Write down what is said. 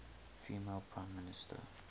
female prime minister